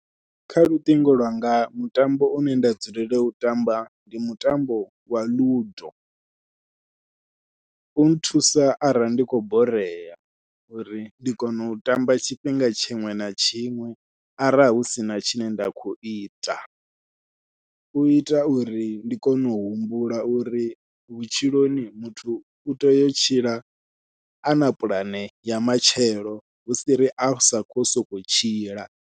Kha luṱingo lwanga mutambo une nda dzulela u tamba ndi mutambo wa ludo, u nthusa arali ndi khou borea uri ndi kone u tamba tshifhinga tshiṅwe na tshiṅwe arali husina tshine nda khou ita, u ita uri ndi kone u humbula uri vhutshiloni muthu u tea u tshila ana puḽane ya matshelo hu si ri a sa khou sokou tshila.